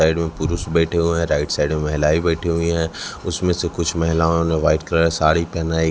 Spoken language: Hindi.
साइड में पुरुष बैठे हुए हैं राइट साइड में महिलाएं बैठी हुई हैं उसमें से कुछ महिलाओं ने व्हाइट कलर साड़ी पहना--